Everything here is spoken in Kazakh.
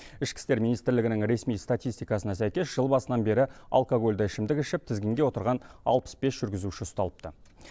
ішкі істер министрлігінің ресми статистикасына сәйкес жыл басынан бері алкогольді ішімдік ішіп тізгінге отырған алпыс бес жүргізуші ұсталыпты